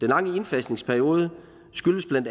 lange indfasningsperiode skyldes bla